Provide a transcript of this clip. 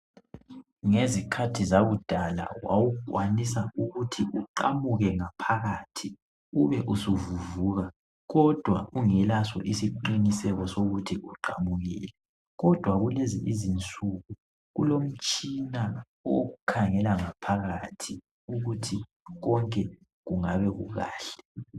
Ngezikhathi zakudala wawukwanisa ukuthi uqamuke ngaphakathi ube usu vuvuka kodwa ungelaso isiqiniseko sokuthi uqamukile kodwa kulezi izinsuku kulomtshina okukhangela ngaphakathi ukuthi konke kungabe kukahle .